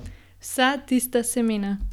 Vsa tista semena.